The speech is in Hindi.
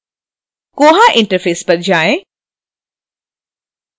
koha interface पर जाएँ